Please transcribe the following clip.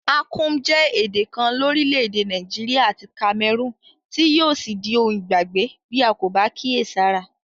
Akum je èdè kan lórílẹ̀dè Naijiria àti Cameroon tí yio sí di oun ìgbàgbé bi a ko ba kíèsára